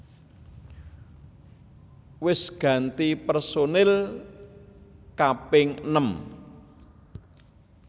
Wis ganti personil kaping enem